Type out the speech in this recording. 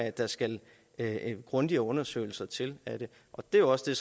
at der skal grundigere undersøgelser til af det det er jo også det